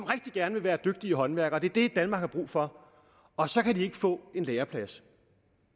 rigtig gerne vil være dygtige håndværkere det det danmark har brug for og så kan de ikke få en læreplads